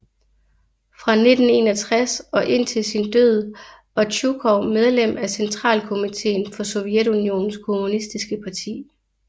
Fra 1961 og indtil sin død var Tjujkov medlem af Centralkomiteen for Sovjetunionens kommunistiske parti